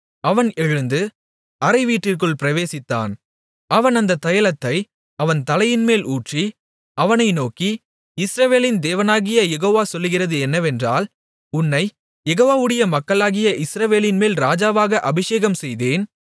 அவன் எழுந்து அறைவீட்டிற்குள் பிரவேசித்தான் அவன் அந்தத் தைலத்தை அவன் தலையின்மேல் ஊற்றி அவனை நோக்கி இஸ்ரவேலின் தேவனாகிய யெகோவா சொல்லுகிறது என்னவென்றால் உன்னைக் யெகோவாவுடைய மக்களாகிய இஸ்ரவேலின்மேல் ராஜாவாக அபிஷேகம்செய்தேன்